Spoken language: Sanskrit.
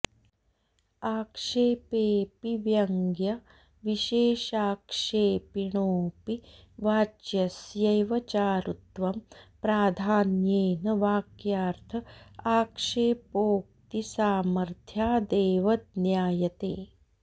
आक्षेपेऽपि व्यङ्ग्यविशेषाक्षेपिणोऽपि वाच्यस्यैव चारुत्वं प्राधान्येन वाक्यार्थ आक्षेपोक्तिसामर्थ्यादेव ज्ञायते